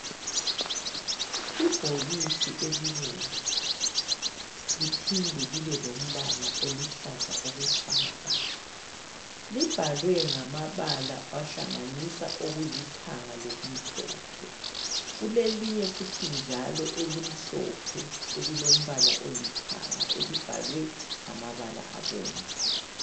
Ibhokisi elibomvu, liphinde libe lombala oluhlaza okwesibhakabhaka. Libhalwe ngamabala ahlanganisa okulithanga lokumhlophe. Kulelinye futhi njalo elimhlophe, elilombala olithanga elibhalwe ngamabala abomvu.